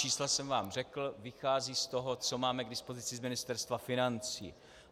Čísla jsem vám řekl, vychází z toho, co máme k dispozici z Ministerstva financí.